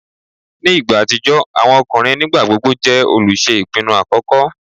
Ni igba atijọ, awọn ọkunrin nigbagbogbo jẹ oluṣe ipinnu akọkọ